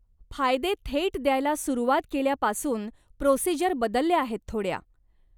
फायदे थेट द्यायला सुरुवात केल्यापासून, प्रोसिजर बदलल्या आहेत थोड्या.